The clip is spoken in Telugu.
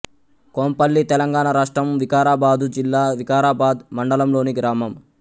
కొంపల్లి తెలంగాణ రాష్ట్రం వికారాబాదు జిల్లా వికారాబాద్ మండలంలోని గ్రామం